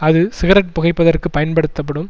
அது சிகரெட் புகைப்பதற்கு பயன்படுத்தப்படும்